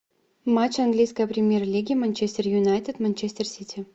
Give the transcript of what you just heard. матч английской премьер лиги манчестер юнайтед манчестер сити